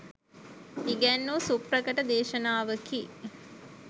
ඉගැන්වූ සුප්‍රකට දේශානවකි.